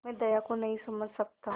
मैं दया को नहीं समझ सकता